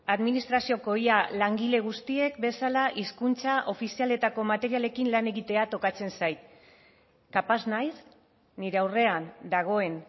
administrazioko ia langile guztiek bezala hizkuntza ofizialetako materialekin lan egitea tokatzen zait kapaz naiz nire aurrean dagoen